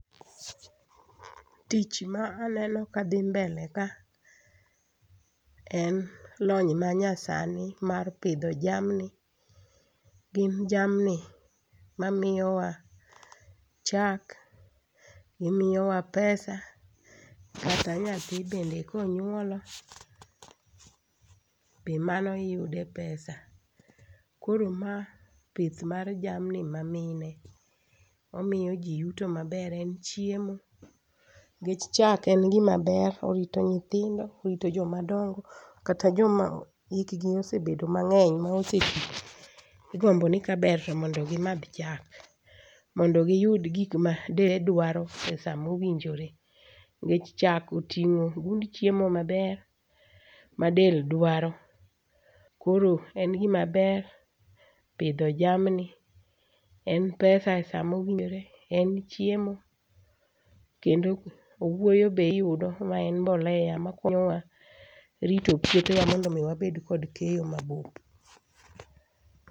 Tich ma aneno kadhi mbele ka en lony ma nyasani mar pidho jamni. Gin jamni mamiyo wa chak, gimiyowa pesa kata nyathi bende konyuolo be mano iyude pesa. Koro ma pith mar jamni ma mine, omiyo jii yuto maber en chiemo nikech chak en gima ber orito nyithindo, orito joma dongo kata joma yik gi osebedo mang'eny ma oseti igombo ni kaber to mondo gimadh chak mondo giyud gima del dwaro e saa mowinjore. Nikech chak itingo gund chiemo maber ma del dwaro koro en gima ber pidho jamni en pesa e saa mowinjore, en chiemo kendo owuoyo be iyudo mae en mbolea makonyowa rito puothewa mondo mi wabed kod keyo mabup.